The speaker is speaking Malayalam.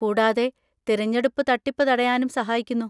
കൂടാതെ തിരഞ്ഞെടുപ്പ് തട്ടിപ്പ് തടയാനും സഹായിക്കുന്നു.